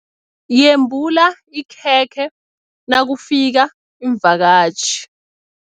Yembula ikhekhe nakufika iimvakatjhi.